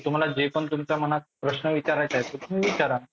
तुम्हाला जे पण तुमच्या मनात प्रश्न आहेत ते तुम्ही विचारा.